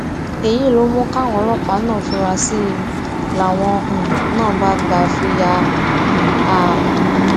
èyí ló mú káwọn ọlọpàá náà fura sí i làwọn um náà bá gbà fi yà um á